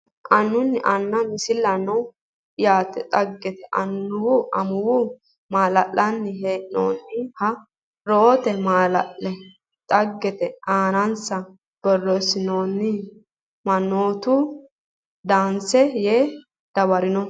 annu aana Misilaano yaa dhaggete annuwa amuwa mallanni hee noonniha reyote mala dhagge aanansa borreessinoonni mannoota Dansa yee dawaranno !